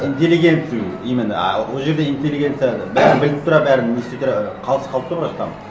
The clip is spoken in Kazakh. интеллигенцию именно а ол жерде интеллигенция бәрін біліп тұра бәрін ести тұра қалыс қалып тұр ғой там